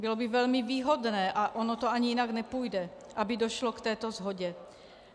Bylo by velmi výhodné, a ono to ani jinak nepůjde, aby došlo k této shodě.